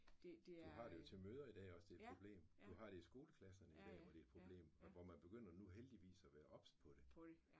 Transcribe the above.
Du har det jo til møder i dag også det er et problem. Du har det i skoleklasserne hvor det et problem og man begynder nu heldigvis at være obs på det